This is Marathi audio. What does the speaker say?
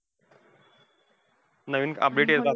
नवीन update येतात.